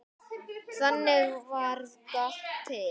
Þannig varð GOTT til.